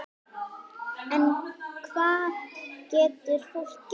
En hvað getur fólk gert?